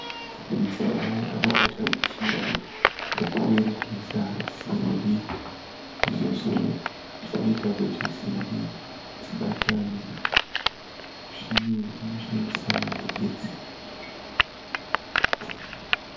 Mudzimai akabata muchina wekuweredhesa simbi zvinoita kuti simbi dzibatane zvino unoshandisa magetsi.